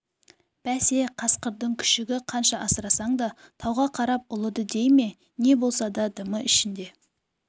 бәсе қасқырдың күшігі қанша асырасаң да тауға қарап ұлиды дей ме не болса да дымы ішінде